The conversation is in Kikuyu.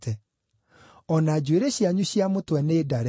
O na njuĩrĩ cianyu cia mũtwe nĩndare.